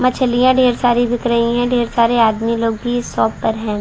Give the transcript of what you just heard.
मछलियाँ ढ़ेर सारी दिख रही है ढ़ेर सारे आदमी लोग भी इस शॉप पर है।